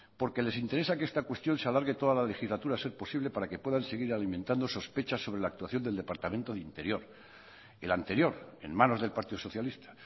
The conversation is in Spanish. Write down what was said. porque les interesa que esta cuestión se alargue toda la legislatura a ser posible para que puedan seguir alimentando sospechas sobre la actuación del departamento de interior el anterior en manos del partido socialista